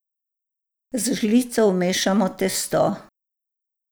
Z žlico vmešamo testo.